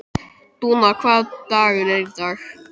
Dúna, hvaða dagur er í dag?